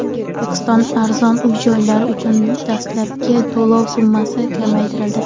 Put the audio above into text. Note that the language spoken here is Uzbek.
O‘zbekistonda arzon uy-joylar uchun dastlabki to‘lov summasi kamaytirildi.